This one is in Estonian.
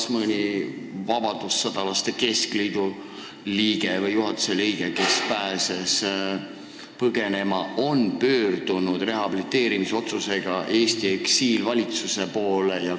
Kas mõni vabadussõjalaste liidu juhatuse liige või lihtliige, kes pääses põgenema, on pöördunud rehabiliteerimispalvega Eesti eksiilvalitsuse poole?